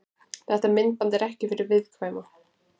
Þetta myndband er ekki fyrir viðkvæma.